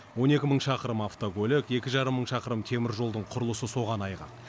он екі мың шақырым автокөлік екі жарым мың шақырым теміржолдың құрылысы соған айғақ